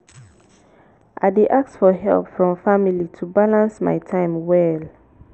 i dey ask for help from family to balance my time well.